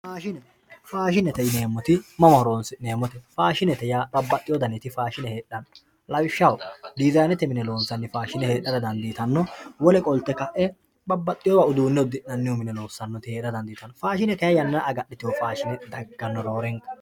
Faashine faashinete yinemorichi mama horonsineemote fashinete yaa babaxewo daniti faashine heedhano lawishaho diyizanete mine loonsaniti faashine heedhara danditano wole qolte kae babaxitewo darga agadhite dagano